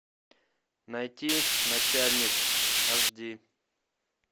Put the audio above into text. найти начальник аш ди